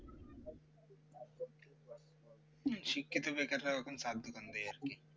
শিক্ষিত বেকার রাও এখন চায়ের দোকান দেয় আর কি